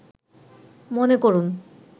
মনে করুন